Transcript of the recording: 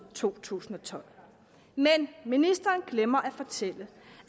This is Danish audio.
to tusind og tolv men ministeren glemmer at fortælle